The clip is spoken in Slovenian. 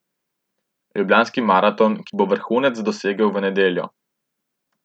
Ljubljanski maraton, ki bo vrhunec dosegel v nedeljo.